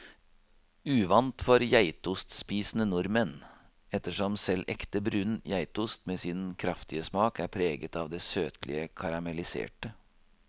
Uvant for geitostspisende nordmenn, ettersom selv ekte brun geitost med sin kraftige smak er preget av det søtlige karamelliserte.